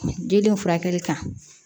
Didenw furakɛli kan